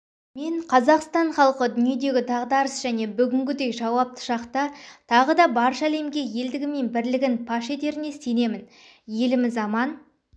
мен қазақстан халқы дүниедегі дағдарыс және бүгінгідей жауапты шақта тағы да барша әлемге елдігі мен бірлігін паш етеріне сенемін еліміз аман